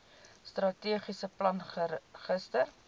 strategiese plan gister